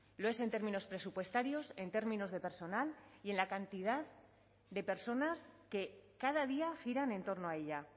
lo es en términos presupuestarios en términos de personal y en la cantidad de personas que cada día giran en torno a ella